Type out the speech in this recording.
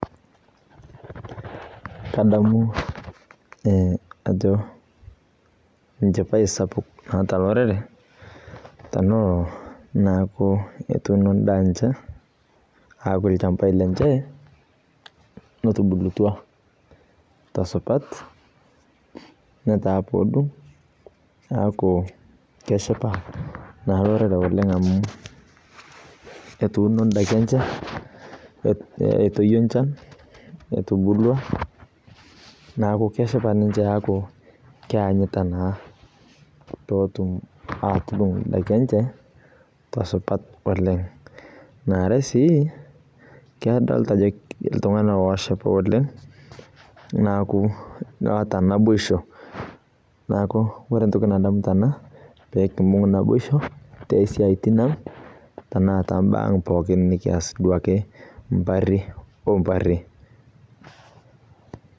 Kadamu e ajo enchipae sapuk naata naata olorere teneaku etuuno endaa enche apuo lchambai lenye otubulutua tosupat neaku keshipa na lorere oleng amuetuuno ndakin enye etubulua neaku keanyita na petum atudung ndakin enye tesupat oleng nare si kadolta ajo ltunganak oshipa oleng na keeta naboisho neaku ore entoki nadamu tena na pekimbung naboisho tosiatin ang tombaa aang pookin nikias mbari mbari.